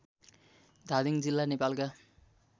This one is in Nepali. धादिङ जिल्ला नेपालका